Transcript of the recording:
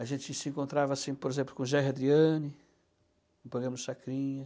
A gente se encontrava assim, por exemplo, com o Jair Adriani, no programa do Chacrinha.